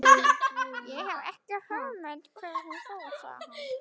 Ég hef ekki hugmynd um hvert hún fór, sagði hann.